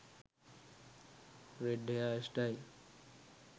red hair style